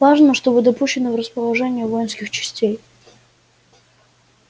важно что вы допущены в расположение воинских частей